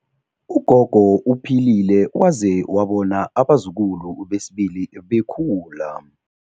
Ugogo uphilile waze wabona abazukulu besibili bekhula.